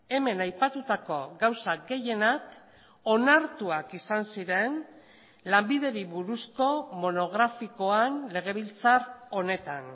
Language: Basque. hemen aipatutako gauza gehienak onartuak izan ziren lanbideri buruzko monografikoan legebiltzar honetan